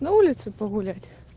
на улице погулять